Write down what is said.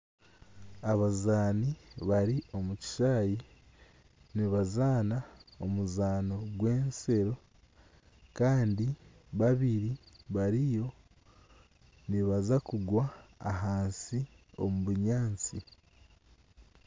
Abazaani bari omukishaayi nibazaana omuzaano gw'ensero Kandi babiri bariyo nibaza kugwa ahansi omubunyatsi